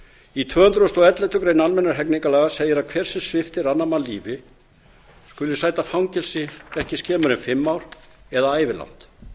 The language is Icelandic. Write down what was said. í tvö hundruð og elleftu grein almennra hegningarlaga segir að hver sem sviptir annan mann lífi skuli sæta fangelsi ekki skemur en fimm ár eða ævilangt